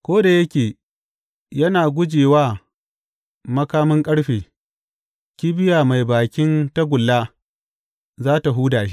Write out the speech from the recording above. Ko da yake yana guje wa makamin ƙarfe, kibiya mai bakin tagulla za tă huda shi.